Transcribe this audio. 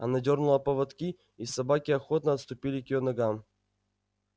она дёрнула поводки и собаки охотно отступили к её ногам